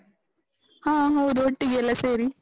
ಹಾ ಹೌದು, ಒಟ್ಟಿಗೆ ಎಲ್ಲ ಸೇರಿ.